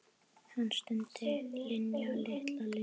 Hann stundi: Linja, litla Linja.